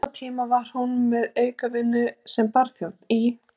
Á sama tíma var hún með aukavinnu sem barþjónn í